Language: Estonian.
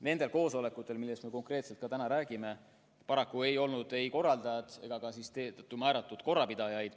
Nendel koosolekutel, millest me konkreetselt räägime, paraku ei olnud ametlikke korraldajad ega siis ka korraldajate määratud korrapidajaid.